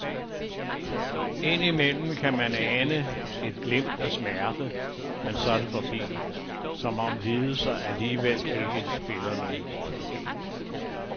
Indimellem kan man også ane et glimt af smerte, men så er det forbi, som om lidelser alligevel ikke spiller nogen rolle.